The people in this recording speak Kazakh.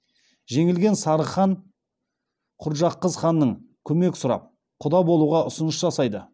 жеңілген сарығхан құрджақызханнан көмек сұрап құда болуға ұсыныс жасайды